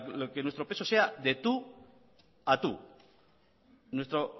para que nuestro peso sea de tu a tu nuestro